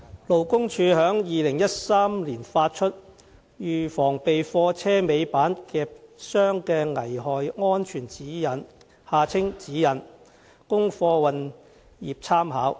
勞工處於2013年發出《預防被貨車尾板夾傷的危害安全指引》，供貨運業參考。